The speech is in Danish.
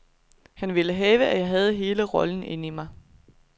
Han ville have, at jeg havde hele rollen inden i mig.